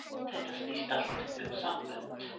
Þetta snýst allt um sambönd.